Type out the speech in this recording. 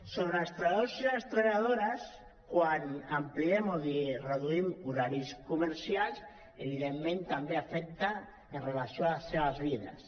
sobre els treballadors i les treballadores quan ampliem o reduïm horaris comer·cials evidentment també afecta amb relació a les seves vides